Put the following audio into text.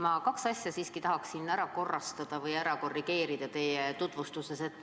Ma kaks asja teie tutvustuses siiski tahaksin ära korrigeerida.